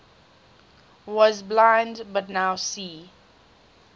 was blind but now see